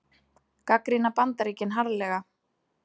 Gagnrýna Bandaríkin harðlega